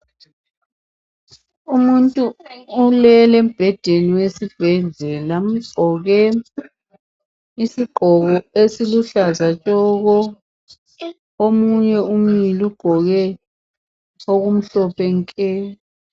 Umuntu ulele embhedeni wesibhedlela ugqoke isigqoko esiluhlaza tshoko. Omunye umile ugqoke okumhlophe nke.